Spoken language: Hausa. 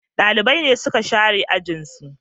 Dalibai ne suka share ajin su